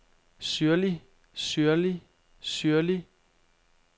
syrlig syrlig syrlig